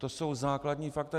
To jsou základní fakta.